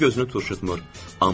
Üz gözünü turşutmur.